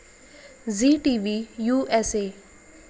Zee T V U S A